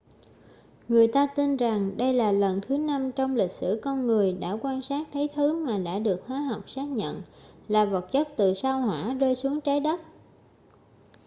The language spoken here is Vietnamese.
người ta tin rằng đây là lần thứ năm trong lịch sử con người đã quan sát thấy thứ mà đã được hóa học xác nhận là vật chất từ sao hỏa rơi xuống trái đất